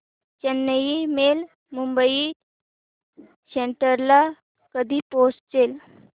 Chennai mail Mumbai central ला कधी पोहचेल